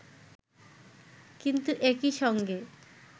কিন্তু একই সঙ্গে